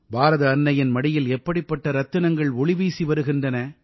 பாரத அன்னையின் மடியில் எப்படிப்பட்ட ரத்தினங்கள் ஒளிவீசி வருகின்றன